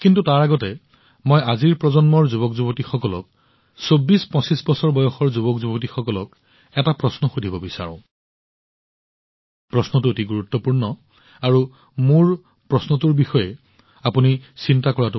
কিন্তু তাৰ আগতে মই আজিৰ প্ৰজন্মৰ যুৱকযুৱতীসকলক ২৪২৫ বছৰীয়া যুৱকযুৱতীসকলক এটা প্ৰশ্ন সুধিব বিচাৰো আৰু প্ৰশ্নটো অতি গুৰুত্বপূৰ্ণ আৰু নিশ্চিতভাৱে মোৰ প্ৰশ্নটোৰ বিষয়ে চিন্তা কৰক